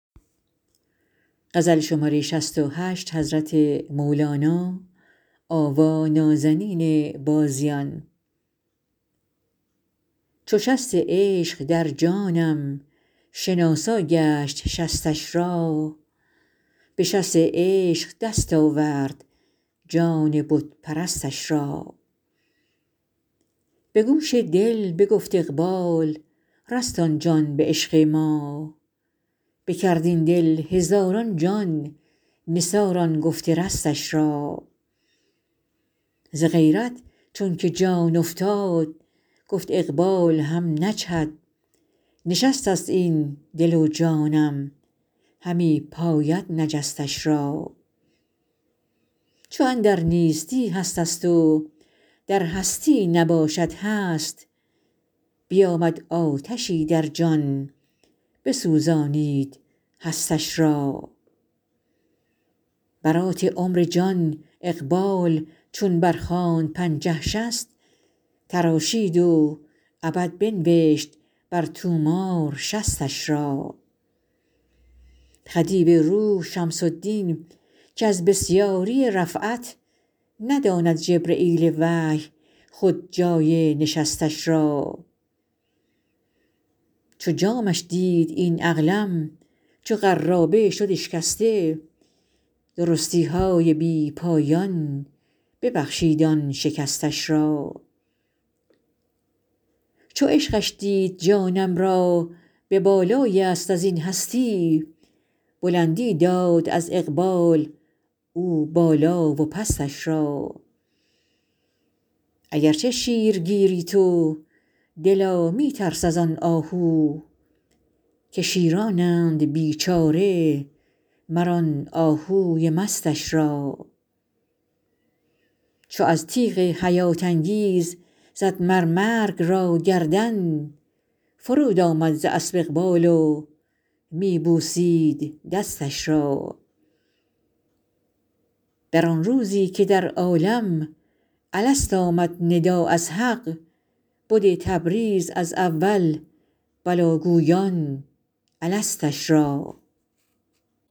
چو شست عشق در جانم شناسا گشت شستش را به شست عشق دست آورد جان بت پرستش را به گوش دل بگفت اقبال رست آن جان به عشق ما بکرد این دل هزاران جان نثار آن گفت رستش را ز غیرت چونک جان افتاد گفت اقبال هم نجهد نشستست این دل و جانم همی پاید نجستش را چو اندر نیستی هستست و در هستی نباشد هست بیامد آتشی در جان بسوزانید هستش را برات عمر جان اقبال چون برخواند پنجه شصت تراشید و ابد بنوشت بر طومار شصتش را خدیو روح شمس الدین که از بسیاری رفعت نداند جبرییل وحی خود جای نشستش را چو جامش دید این عقلم چو قرابه شد اشکسته درستی های بی پایان ببخشید آن شکستش را چو عشقش دید جانم را به بالای یست از این هستی بلندی داد از اقبال او بالا و پستش را اگر چه شیرگیری تو دلا می ترس از آن آهو که شیرانند بیچاره مر آن آهوی مستش را چو از تیغ حیات انگیز زد مر مرگ را گردن فروآمد ز اسپ اقبال و می بوسید دستش را در آن روزی که در عالم الست آمد ندا از حق بده تبریز از اول بلی گویان الستش را